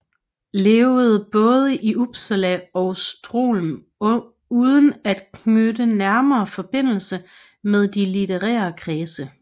Levede baade i Upsala og Sthlm uden at knytte nærmere Forbindelse med de litterære Kredse